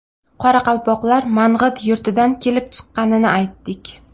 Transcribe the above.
Qoraqalpoqlar Mang‘it yurtidan kelib chiqqanini aytdik.